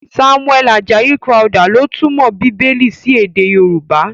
Samuel Ajayi Crowther ló túmọ̀ Bíbélì sí èdè Yorùbá.